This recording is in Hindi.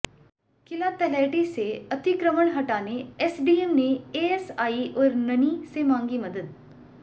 किला तलहटी से अतिक्रमण हटाने एसडीएम ने एएसआई और ननि से मांगी मदद